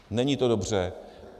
Není to dobře.